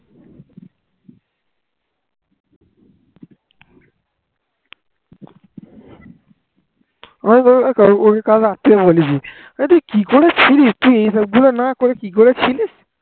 আমি কাল ওকে রাত থেকে বলে দিয়েছি, হ্যাঁ রে, তুই কি করেছিলিস এইগুলো না করে তুই কি করে ছিলিস